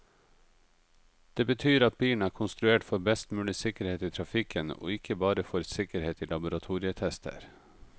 Det betyr at bilen er konstruert for best mulig sikkerhet i trafikken, og ikke bare for sikkerhet i laboratorietester.